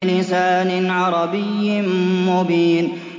بِلِسَانٍ عَرَبِيٍّ مُّبِينٍ